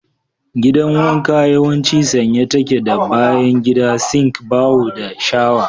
Gidan wanka yawanci sanye take da bayan gida, sink, baho, da shawa.